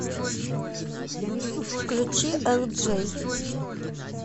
включи элджей